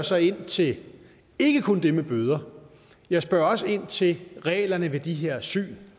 så ind til ikke kun det med bøder jeg spørger også ind til reglerne ved de her syn